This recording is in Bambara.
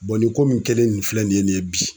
nin ko mun kɛlen nin filɛ nin ye nin ye bi